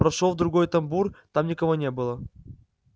прошёл в другой тамбур там никого не было